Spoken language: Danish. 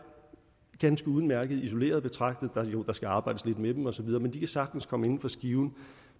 ganske udmærkede isoleret betragtet der skal arbejdes lidt med dem osv men de kan sagtens komme inden for skiven